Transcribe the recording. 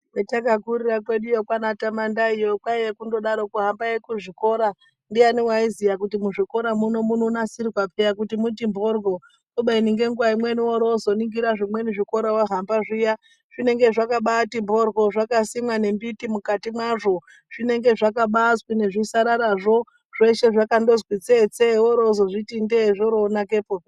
Kwatakakurira kweduyo kwaanatamandayiyo kwaiye kundodaroko hambai kuzvikora ndiyani waiziya kuti muzvikora muno munonasirwa peya kuti muti mhoryo kubeni ngenguwa imweni worwozoningira zvimweni zvikora wahamba zviya zvinenge zvakabati mhoryo zvakasimwa nemiti mukati mwazvo zvinenge zvakabazwi nezvitsarara zvo zveshe zvakandozwi tsetse worowozozviti ndee zvobaanakepo.